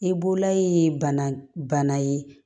I bololayi bana ye